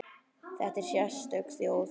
Þetta er sérstök þjóð.